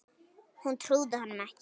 Hún trúði honum ekki.